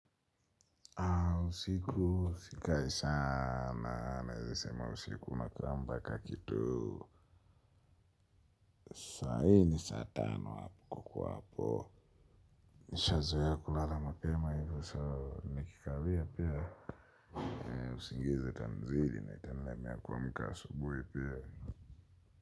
Haa usiku sikai sana, naeze sema usiku unakaa mbaka kituu. Saa nne saa tano hapo kwa hapo. Nishazoea kulala mapema hivyo soo nikikawia pia. Naye usingize tanizidi na itanilemea kuwamka asubui pia.